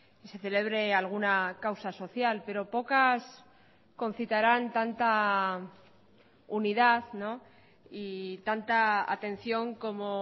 y se celebre alguna causa social pero pocas concitaran tanta unidad y tanta atención como